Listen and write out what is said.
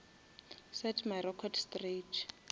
set my record straight